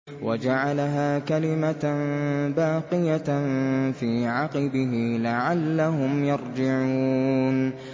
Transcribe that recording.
وَجَعَلَهَا كَلِمَةً بَاقِيَةً فِي عَقِبِهِ لَعَلَّهُمْ يَرْجِعُونَ